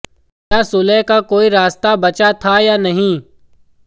क्या सुलह का कोई रास्ता बचा था या नहीं